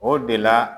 O de la